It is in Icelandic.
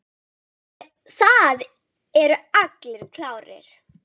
Það eru allir klárir.